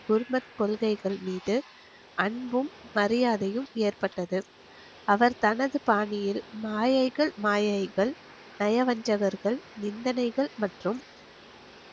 குருமத் கொள்கைகள் மீது அன்பும் மரியாதையும் ஏற்பட்டது அவர் தனது பாணியில் மாயைகள் மாயைகள் நயவஞ்சகர்கள் நிந்தனைகள் மற்றும்